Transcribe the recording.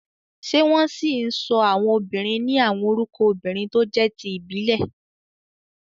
Ṣé wọ́n ṣì ń sọ àwọn obìnrin ní àwọn orúkọ obìnrin tó jẹ́ ti ìbílẹ̀?